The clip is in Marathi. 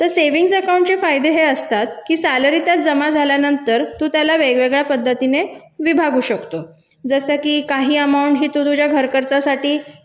तर बचत खाते चे फायदे हे असतात की पगार जमा झाल्यानंतर वेगळ्या पद्धतीने विभागू शकतो जसं की काही रक्कम तू तुझ्या घर खर्चासाठी